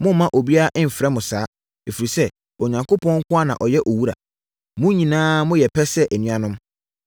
“Mommma obiara mfrɛ mo saa. Ɛfiri sɛ, Onyankopɔn nko ara na ɔyɛ Owura. Mo nyinaa moyɛ pɛ sɛ anuanom.